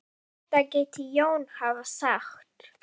Þetta gæti Jón hafa sagt.